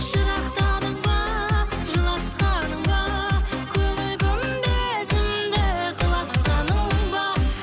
жырақтадың ба жылатқаның ба көңіл күмбезімді құлатқаның ба